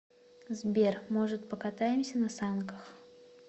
сбер может покатаемся на санках